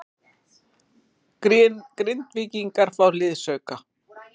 Grindvíkingar fá liðsauka